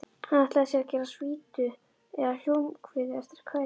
Hann ætlaði sér að gera svítu eða hljómkviðu eftir kvæðinu.